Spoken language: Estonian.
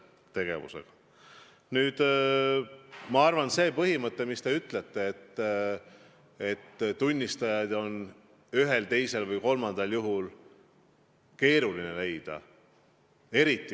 Te ütlesite, et kui me räägime perevägivallast, siis on tunnistajaid on ühel, teisel või kolmandal juhul keeruline leida.